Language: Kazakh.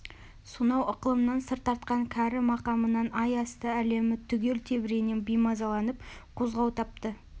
сонау ықылымнан сыр тартқан кәрі мақамынан ай асты әлемі түгел тебірене беймазаланып қозғау тапты